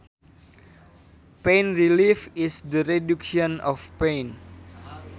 Pain relief is the reduction of pain